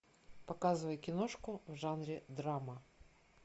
показывай киношку в жанре драма